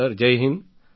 sir Jai Hind